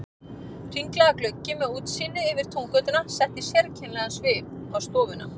Hringlaga gluggi með útsýni yfir Túngötuna setti sérkennilegan svip á stofuna.